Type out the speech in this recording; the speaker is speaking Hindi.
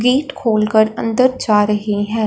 गेट खोल कर अंदर जा रहे हैं।